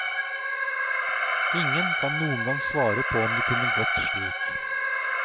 Ingen kan noengang svare på om det kunne gått slik.